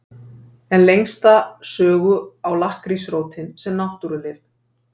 En lengsta sögu á lakkrísrótin sem náttúrulyf.